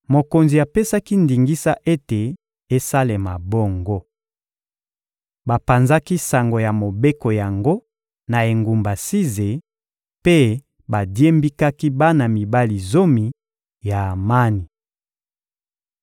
Mokonzi apesaki ndingisa ete esalema bongo. Bapanzaki sango ya mobeko yango na engumba Size mpe badiembikaki bana mibali zomi ya Amani.